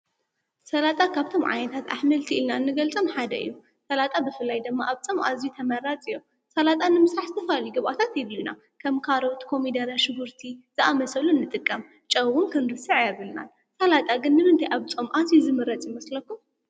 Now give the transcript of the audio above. ሠላጣ ካብቶም ዓይታት ኣኅምልቲ ኢልናን ንገልጸም ሓደ ዩ ሠላጣ ብፍላይ ደመ ኣብጾም ኣዚይ ተመራጽ እዮም ሠላጣን ንምሳሕስተፋልይገቛታት ይልዩና ከም ካረውት፣ ኮሚዳረ፣ ሽጉርቲ ዝኣመሰብሉ ንጥቀም ጨውውን ክንርስዕ የብልናን ሠላጣ ግንምንቲ ኣብጾም ኣዙ ዝምረጽ ይመስለኹ?